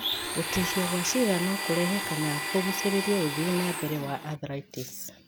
Gũtihio kwa ciĩga no kũrehe kana kũgucĩrĩria ũthii na mbere wa arthritis.